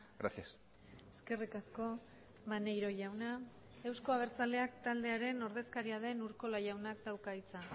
gracias eskerrik asko maneiro jauna euzko abertzaleak taldearen ordezkaria den urkola jaunak dauka hitza